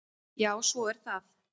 Já, svo er það.